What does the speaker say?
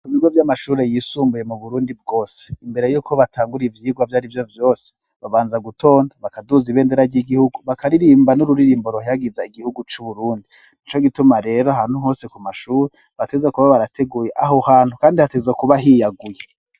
Ibigo vy'amashure yisumbuye mu Burundi bwose, imbere y'uko batangura ivyigwa ivyo ari vyo vyose, babanza gutonda, bakaduza ibendera ry'igihugu, bakaririmba n'ururirimbo ruhayagiza igihugu c'Uburundi. Ni co gituma rero ahantu hose ku mashure, bategerezwa kuba barateguye aho hantu kandi hategerezwa kuba hiyaguye.